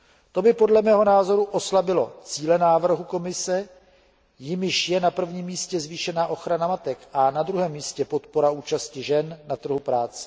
To by podle mého názoru oslabilo cíle návrhu Komise, jimiž je na prvním místě zvýšená ochrana matek a na druhém místě podpora účasti žen na trhu práce.